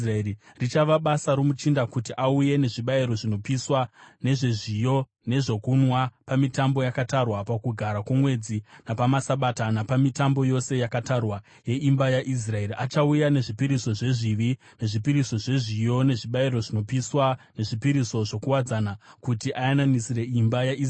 Richava basa romuchinda kuti auye nezvibayiro zvinopiswa, nezvezviyo nezvokunwa pamitambo yakatarwa, pakugara kwomwedzi napamaSabata, napamitambo yose yakatarwa yeimba yaIsraeri. Achauya nezvipiriso zvezvivi, nezvipiriso zvezviyo, nezvibayiro zvinopiswa nezvipiriso zvokuwadzana kuti ayananisire imba yaIsraeri.